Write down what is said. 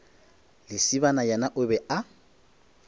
lesibana yena o be a